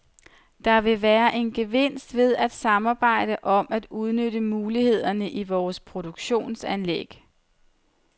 Der vil være en gevinst ved at samarbejde om at udnytte mulighederne i vores produktionsanlæg.